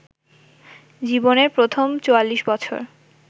জীবনের প্রথম ৪৪ বছর